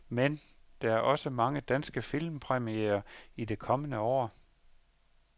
Men der er også mange danske filmpremierer i det kommende år.